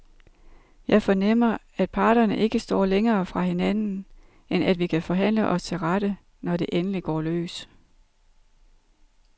Jeg fornemmer, at parterne ikke står længere fra hinanden, end at vi kan forhandle os til rette, når det endelig går løs.